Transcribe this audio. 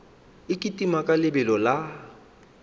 e kitima ka lebelo la